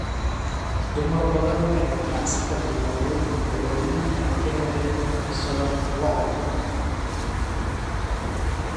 Dumar badan ayaa ganacsi ka bilaabay badeecooyin ay ka heleen dhaqashada lo'da lo'da.